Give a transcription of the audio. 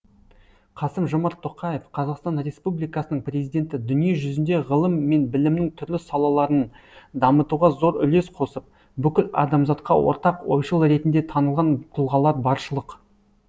қасым жомарт тоқаев қазақстан республикасының президенті дүние жүзінде ғылым мен білімнің түрлі салаларын дамытуға зор үлес қосып бүкіл адамзатқа ортақ ойшыл ретінде танылған тұлғалар баршылық